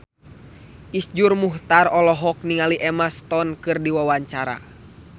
Iszur Muchtar olohok ningali Emma Stone keur diwawancara